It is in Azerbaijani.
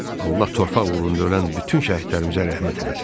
Allah torpaq uğrunda ölən bütün şəhidlərimizə rəhmət eləsin.